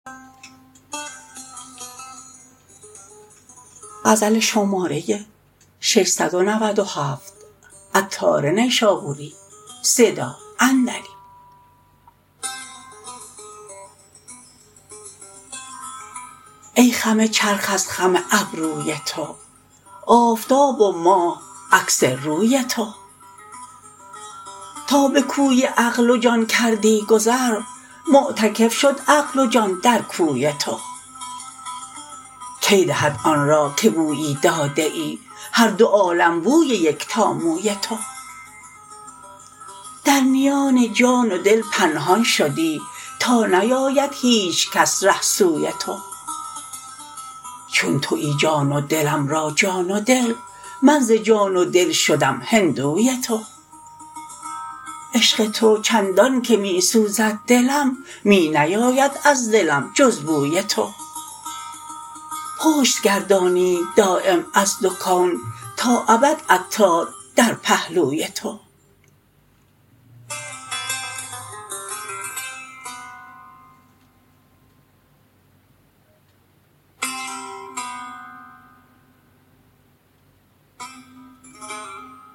ای خم چرخ از خم ابروی تو آفتاب و ماه عکس روی تو تا به کوی عقل و جان کردی گذر معتکف شد عقل و جان در کوی تو کی دهد آن را که بویی داده ای هر دو عالم بوی یکتا موی تو در میان جان و دل پنهان شدی تا نیاید هیچ کس ره سوی تو چون تویی جان و دلم را جان و دل من ز جان و دل شدم هندوی تو عشق تو چندان که می سوزد دلم می نیاید از دلم جز بوی تو پشت گردانید دایم از دو کون تا ابد عطار در پهلوی تو